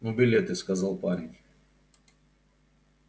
ну билеты сказал парень